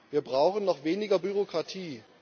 Wir brauchen noch weniger Bürokratie.